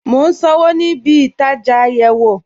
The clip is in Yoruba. Mo n sànwo ní ìbí-ìtajá ayéwo